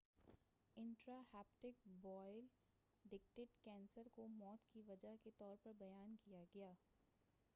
intra hepatic bile duct cancer کو موت کی وجہ کے طور پر بیان کیا گیا